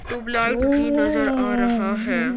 Tubelight भी नजर आ रहा है।